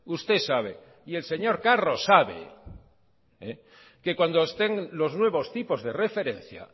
usted sabe y el señor carros sabe que cuando estén los nuevos tipos de referencia